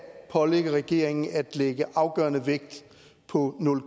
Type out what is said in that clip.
pålægge regeringen at lægge afgørende vægt på nul